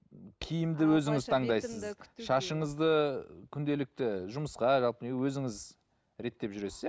киімді өзіңіз таңдайсыз шашыңызды күнделікті жұмысқа өзіңіз реттеп жүресіз иә